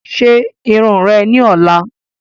Ṣe irun ori rẹ ni ọla